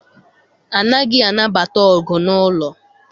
Anaghị anabata ọgụ n'ụlọ.